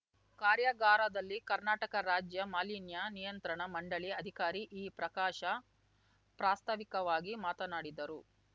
ಕಾರ್ಯಾಗಾರದಲ್ಲಿ ಕರ್ನಾಟಕ ರಾಜ್ಯ ಮಾಲಿನ್ಯ ನಿಯಂತ್ರಣ ಮಂಡಳಿ ಅಧಿಕಾರಿ ಈ ಪ್ರಕಾಶ್‌ ಪ್ರಾಸ್ತಾವಿಕವಾಗಿ ಮಾತನಾಡಿದರು